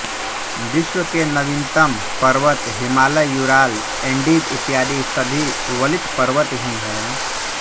विश्व के नवीनतम पर्वत हिमालय यूराल एन्डीज इत्यादि सभी वलित पर्वत ही हैं